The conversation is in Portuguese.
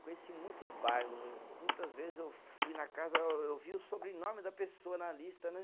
Conheci muitos bairros, muitas vezes eu fui na casa, ô eu via o sobrenome da pessoa na lista, né?